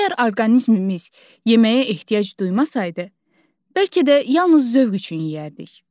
Əgər orqanizmimiz yeməyə ehtiyac duymasaydı, bəlkə də yalnız zövq üçün yeyərdik.